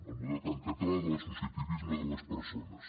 el model tan català de l’associacionisme de les persones